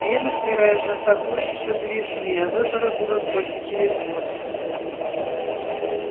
венус вероятно атакует ещё до весны а выборы будут только через год